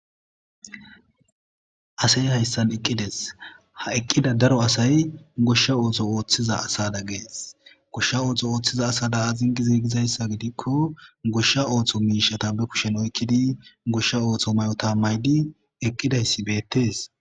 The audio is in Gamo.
Asey hayssan eqqides ha eqqida daro asay goshsha ootho ooththiza asada gees goshsha ooththo ooththiza asada azingi ziigizayssa gidikko goshsha ooththo miishata be kushen oykkidi goshsha ooththo may'ota maydi eqqidayssi beettees.